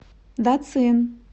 дацин